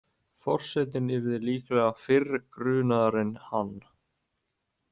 Forsetinn yrði líklega fyrr grunaður en hann.